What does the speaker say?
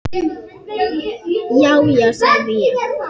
Já, já, sagði ég.